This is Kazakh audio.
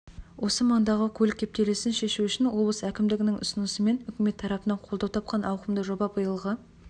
осы маңдағы көлік кептелісін шешу үшін облыс әкімдігінің ұсынысымен үкімет тарапынан қолдау тапқан ауқымды жоба биылғы